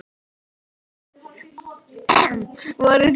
Vill nokkur ganga í ábyrgð fyrir yður?